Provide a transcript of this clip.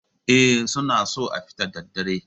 Eh, suna so a fita da daddare